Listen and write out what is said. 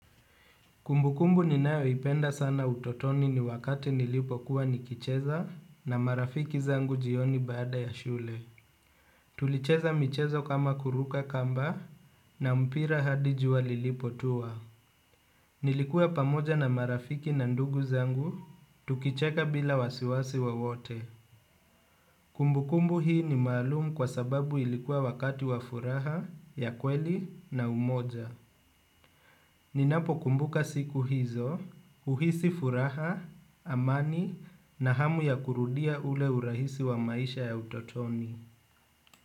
Kumbukumbu ninayo ipenda sana utotoni ni wakati nilipo kuwa nikicheza na marafiki zangu jioni bada ya shule. Tulicheza michezo kama kuruka kamba na mpira hadi juwa lilipo tuwa. Nilikuwa pamoja na marafiki na ndugu zangu, tukicheka bila wasiwasi wowote. Kumbukumbu hii ni maalumu kwa sababu ilikuwa wakati wa furaha ya kweli na umoja. Ninapo kumbuka siku hizo, uhisi furaha, amani na hamu ya kurudia ule urahisi wa maisha ya utotoni.